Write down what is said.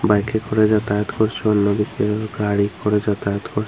বাইকে করে যাতায়াত করছে অন্য ব্যক্তি ও গাড়ি করে যাতায়াত করছে।